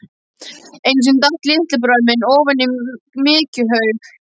Einu sinni datt litli bróðir minn ofan í mykjuhaug.